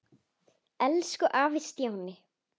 Elsku afi Stjáni.